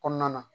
Kɔnɔna na